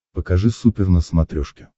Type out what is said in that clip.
покажи супер на смотрешке